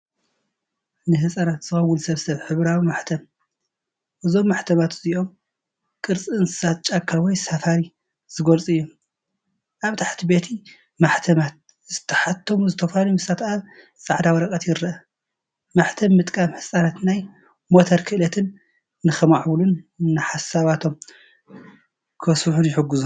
ንህጻናት ዝኸውን ስብስብ ሕብራዊ ማሕተም። እዞም ማሕተማት እዚኣቶም፡ ቅርጺ እንስሳታት ጫካ ወይ ሳፋሪ ዝገልጹ እዮም። ኣብ ታሕቲ በቲ ማሕተማት ዝተሓትሙ ዝተፈላለዩ ምስልታት ኣብ ጻዕዳ ወረቐት ይርአ። ማሕተም ምጥቃም ህጻናት ናይ ሞተር ክእለት ንኸማዕብሉን ንሓሳባቶም ከስፍሑን ይሕግዞም።